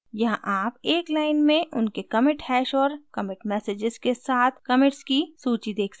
यहाँ आप एक line में उनके commit hash और commit messages के साथ commits की सूची देख सकते हैं